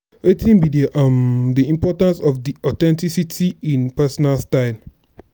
wetin be um di importance of di authenticity in personal style?